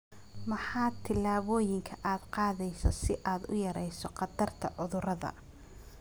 Maxaa tillaabooyinka aad qaadaysaa si aad u yarayso khatarta cudurrada?